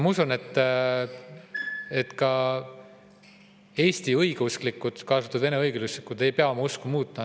Ma usun, et ka Eesti õigeusklikud, kaasa arvatud vene õigeusklikud, ei pea oma usku muutma.